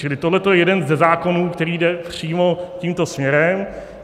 Čili tohle je jeden ze zákonů, který jde přímo tímto směrem.